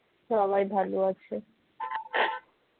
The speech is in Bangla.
সবাই ভালো আছে